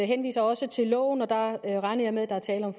henviser også til loven der regner jeg med at der er tale om